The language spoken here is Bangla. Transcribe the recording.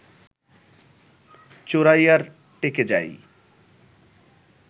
চোরাইয়ার টেকে যাই